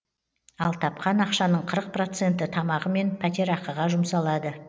ал тапқан ақшаның қырық проценті тамағы мен пәтерақыға жұмсалады